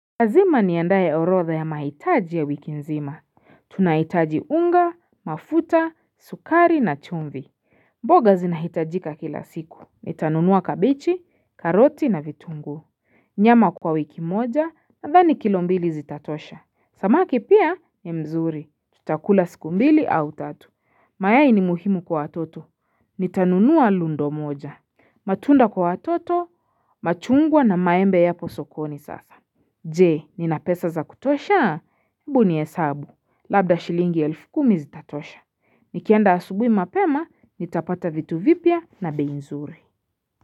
Lazima niandae orotha ya mahitaji ya wiki nzima. Tunahitaji unga, mafuta, sukari na chumvi. Mboga zinahitajika kila siku. Nitanunua kabichi, karoti na vitunguu. Nyama kwa wiki moja, nadhani kilombili zitatosha. Samaki pia, ni mzuri. Tutakula siku mbili au tatu. Mayai ni muhimu kwa atoto. Nitanunua lundo moja. Matunda kwa atoto, machungwa na maembe ya posokoni sasa. Je, ninapesa za kutosha? Bu ni hesabu. Labda shilingi elfu kumi zitatosha. Nikienda asubui mapema, nitapata vitu vipya na beinzuri.